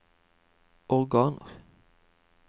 organer